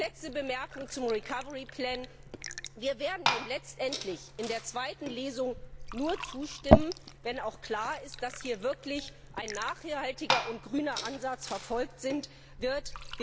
Letzte Bemerkung zum Recovery Plan Wir werden ihm letztendlich in der zweiten Lesung nur zustimmen, wenn auch klar ist, dass hier wirklich ein nachhaltiger und grüner Ansatz verfolgt wird.